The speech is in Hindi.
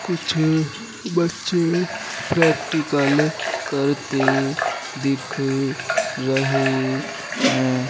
कुछ बच्चे प्रेक्टिकल करते दिख रहे हैं।